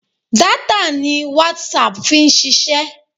Data ni WhatsApp fi ń ṣiṣẹ́.